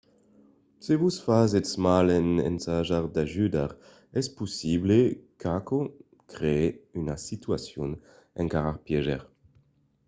se vos fasètz mal en ensajar d'ajudar es possible qu'aquò crèe una situacion encara pièger